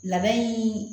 Labɛn